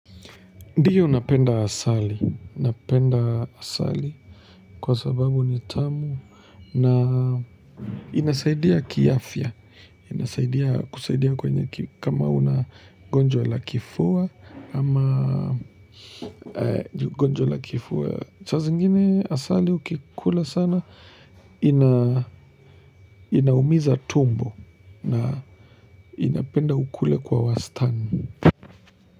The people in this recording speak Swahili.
Ndiyo napenda asali, napenda asali kwa sababu ni tamu na inasaidia kiafya, inasaidia kwenye kama unagonjwa la kifua ama gonjwa la kifua. Sasa zingine asali ukikula sana inaumiza tumbo na inapenda ukule kwa wastani.